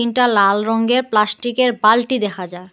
তিনটা লাল রঙ্গের প্লাস্টিকের বালটি দেখা যার।